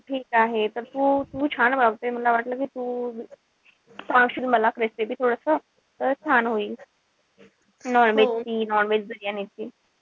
ठीक आहे तर तू तू छान बनवते. मला वाटलं कि तू सांगशील मला recipe थोडस तर छान होईल. non-veg ची, non-veg बिर्याणी ची.